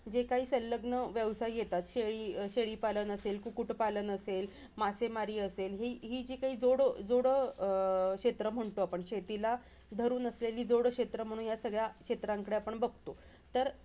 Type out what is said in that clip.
जे काही सलग्न व्यवसाय येतात. शेळीपालन असेल, कुक्कुटपालन असेल, मासेमारी असेल. हि हिजी काही जोड जो अं क्षेत्र म्हणतो. आपण शेतीला धरून असलेली जोड क्षेत्र म्हणून या सगळ्या क्षेत्रांकडे आपण बघतो. तर,